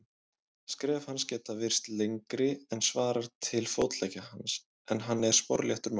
Skref hans geta virst lengri en svarar til fótleggja hans, en hann er sporléttur maður.